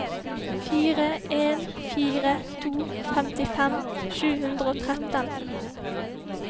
fire en fire to femtifem sju hundre og tretten